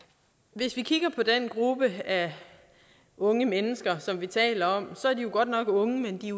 hvis vi kigger på den gruppe af unge mennesker som vi taler om ser vi at de godt nok er unge men de